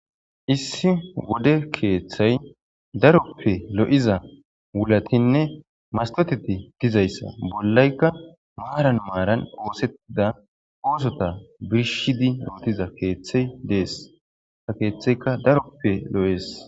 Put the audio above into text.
Issi wode keeththay daroppe lo'iza wulatinne mastoteti dizayssa bollaykka maaran maaran oosettida oosota bishidi rootiza keeththey dees ta keeththeyka daroppe lo'ees